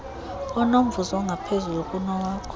onomvuzo ongaphezulu kunowakho